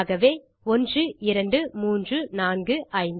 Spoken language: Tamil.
ஆகவே 1 2 3 4 5